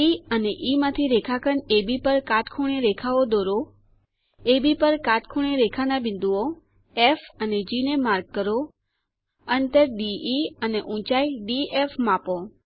D અને E માંથી રેખાખંડ અબ પર કાટખૂણે રેખાઓ દોરો અબ પર કાટખૂણે રેખાના બિંદુઓ ફ અને જી ને માર્ક કરો અંતર દે અને ઊંચાઈ ડીએફ માપો